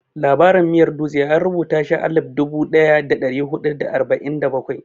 Labarin miyar dutse an rubuta shi a alif dubu ɗaya da ɗari huɗu da arba'in da bakwai.